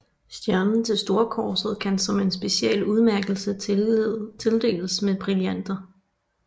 Stjernen til storkorset kan som en speciel udmærkelse tildeles med brillanter